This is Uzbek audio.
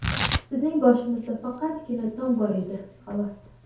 Bizning boshimizda faqatgina tom bor edi, xolos.